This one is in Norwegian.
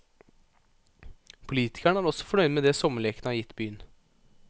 Politikerne er også fornøyd med det sommerlekene har gitt byen.